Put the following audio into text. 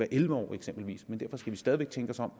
elleve år eksempelvis men derfor skal vi stadig væk tænke os om